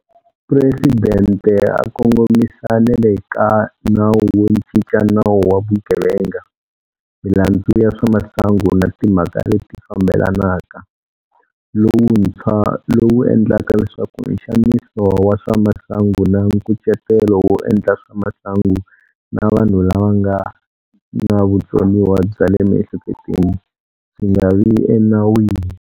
Presidente a kongomisa na le ka Nawu wo Cinca Nawu wa Vugevenga, Milandzu ya swa Masangu na Timhaka leti Fambelanaka, lowuntshwa lowu endlaka leswaku nxaniso wa swa masangu na nkucetelo wo endla swa masangu na vanhu lava nga na vutsoniwa bya le miehleketweni swi nga vi enawini.